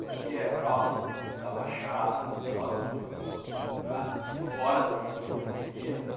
porque é próximo da Baixada, próximo de alguns outros lugares, que é fora do núcleo que eu vivia, né?